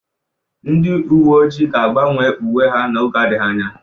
Ndị uwe ojii ga-agbanwe uwe ha n'oge adịghị anya.